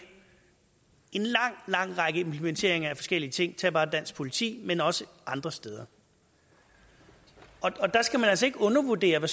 en lang lang række implementeringer af forskellige ting tag bare dansk politi men også andre steder der skal man altså ikke undervurdere hvad